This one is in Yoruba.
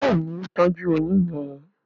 Béèni o tọjú oyún yén.